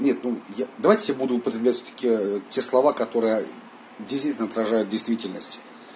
нет ну я давайте я буду употреблять все такт те слова которые действительно отражают действительность